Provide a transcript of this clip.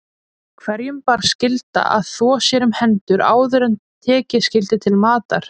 Hverjum bar skylda að þvo sér um hendur áður en tekið skyldi til matar.